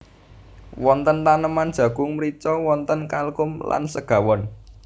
Wonten taneman jagung mrica wonten kalkun lan segawon